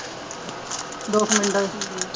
ਦੋੋ ਕੁ ਮਿੰਟਾਂ